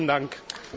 The